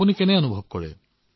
আপোনাৰ কেনে অনুভৱ হৈছে